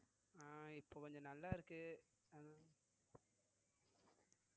அஹ் இப்ப கொஞ்சம் நல்லா இருக்கு அத~